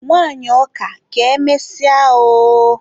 Nwanyị ọka, ka emesịa oooooooo.